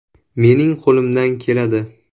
Mening qo‘limdan keladi!